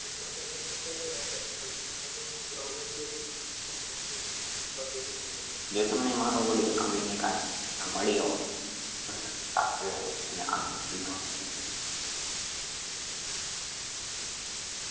જે તમને મારો audio સાંભળીને કાઈ મળી હોય અને હોય અને entrepreneur